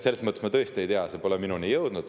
Selles mõttes ma tõesti ei tea, see pole minuni jõudnud.